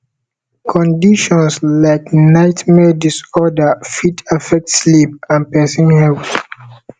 conditions like nightmare disorder fit affect sleep and person health